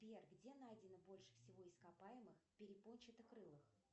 сбер где найдено больше всего ископаемых перепончато крылых